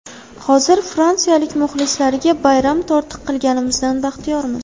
Hozir fransiyalik muxlislariga bayram tortiq qilganimizdan baxtiyormiz.